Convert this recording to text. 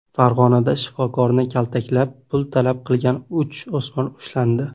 Farg‘onada shifokorni kaltaklab, pul talab qilgan uch o‘smir ushlandi.